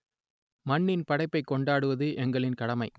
மண்ணின் படைப்பைக் கொண்டாடுவது எங்களின் கடமை